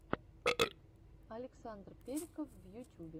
александр периков в ютюбе